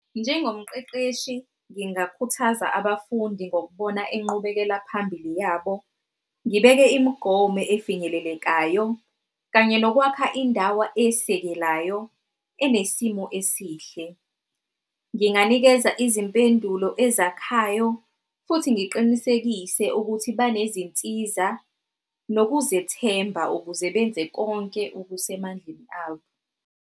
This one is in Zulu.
Njengomqeqeshi ngingakhuthaza abafundi ngokubona inqubekela phambili yabo ngibeke imigomo efinyelelekayo kanye nokwakha indawo esekelayo enesimo esihle. Nginganikeza izimpendulo ezakhayo futhi ngiqinisekise ukuthi banezinsiza nokuzethemba ukuze benze konke okusemandleni abo.